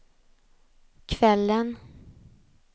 kvällen